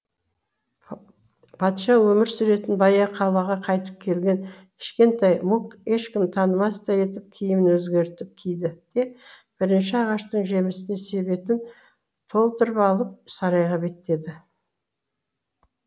патша өмір сүретін баяғы қалаға қайтып келген кішкентай мук ешкім танымастай етіп киімін өзгертіп киді де бірінші ағаштың жемісіне себетін толтырып алып сарайға беттеді